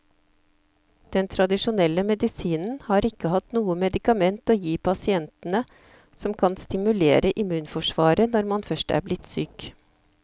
Den tradisjonelle medisinen har ikke hatt noe medikament å gi pasientene som kan stimulere immunforsvaret når man først er blitt syk.